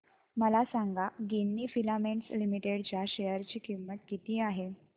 मला सांगा Ginni filaments limited च्या शेअर ची किंमत किती आहे